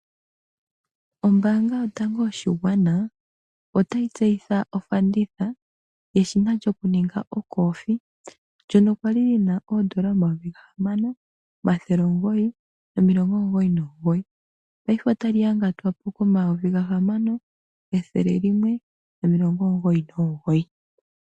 Ombaanga yotango yoshigwana, otayi tseyitha ofanditha yeshina lyokuninga ocoffe, ndyono kwali li na oondola omayovi gahamano, omathele omugoyi nomilongo omugoyi nomugoyi. Paife ota li angatwa po komayovi gahamano, ethele limwe nomilongo omugoyi nomugoyi.